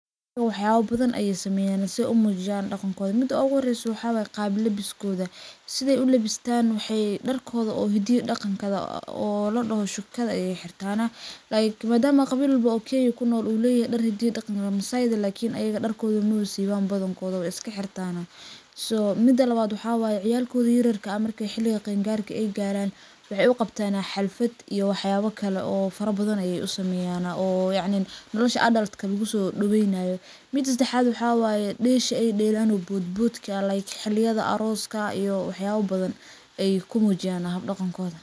Wax yabo badan ayay sameyan si ay umujiyan daqankoda, mida uguxoreyso waxa waye qaab labiskoda, sidhay ulabistan waxay darkoda oo hida iyo daqanka oo ladoxo shukada ayay xirtana, like madaamo qawi walbo oo kenya kunol uleyaxay dar hida iyo daqan, massayda lakin ayaga darkodha mawa siwan badankodaha ba, way iskaxirtana so mida lawad waxa waye ciyalkoda yaryarka markay xiliga qeen garka ay garan, waxay u qabtana xalfad iyo waxyabo kale oo farabadan ayay usameyana, oo yacnin nolosha adult lagusodoweynayo, mida sadaxad waxa waye desha ay delaan iyo bodbodka like xiliyada aroska iyo waxyabo badan ay kumujiyana xab daqankoda.